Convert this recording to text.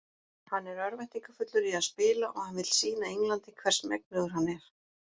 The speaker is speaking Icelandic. Hann er örvæntingarfullur í að spila og hann vill sýna Englandi hvers megnugur hann er.